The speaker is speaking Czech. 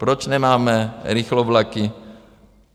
Proč nemáme rychlovlaky?